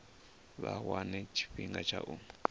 vha wane tshifhinga tsha u